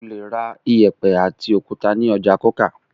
O le ra ìyẹ̀pẹ̀ àti òkúta ní ọjà Coker.